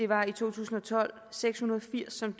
var i to tusind og tolv seks hundrede og firs som